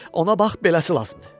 Ona bax, beləsi lazımdır.